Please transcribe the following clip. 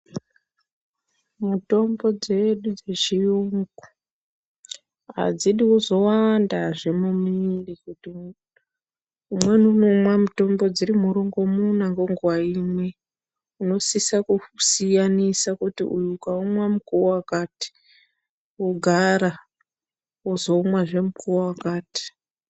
Mitombo dzedu dzechiyungu adzidi kuzowandazve mumiri kuti umweni unomwa mutombo dziri murongomuna ngonguva imwe unosisa kusiyanisa ukaumwa mukuwo wakati wogara wozoumwa zve mukuwo wakati.